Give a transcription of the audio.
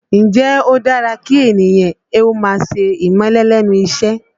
Ǹjẹ́ ó dára kí ènìyàn ó máa ṣe ìmẹ́lẹ́ lẹ́nu iṣẹ́?